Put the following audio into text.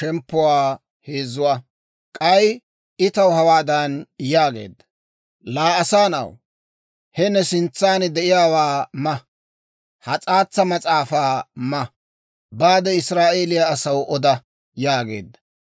K'ay I taw hawaadan yaageedda; «Laa asaa na'aw, he ne sintsan de'iyaawaa ma; ha s'aatsa mas'aafaa ma. Baade, Israa'eeliyaa asaw oda» yaageedda.